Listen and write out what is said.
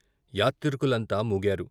యాత్రికులంతా మూగారు.